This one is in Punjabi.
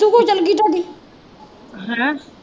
ਹਨਾਂ।